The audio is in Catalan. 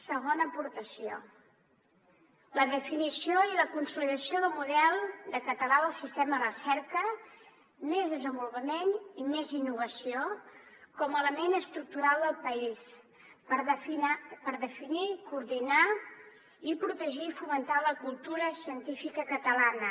segona aportació la definició i la consolidació del model català del sistema recerca més desenvolupament i més innovació com a element estructural del país per definir coordinar i protegir fomentar la cultura científica catalana